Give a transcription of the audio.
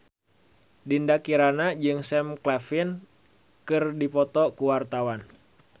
Dinda Kirana jeung Sam Claflin keur dipoto ku wartawan